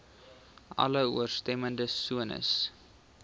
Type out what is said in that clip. alle ooreenstemmende sones